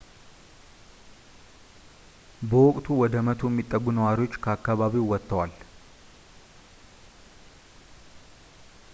በወቅቱ ወደ 100 የሚጠጉ ነዋሪዎች ከአከባቢው ወጥተዋል